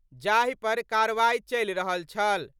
जाहि पर कार्रवाई चलि रहल छल।